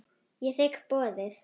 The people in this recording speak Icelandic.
Ég þigg boðið.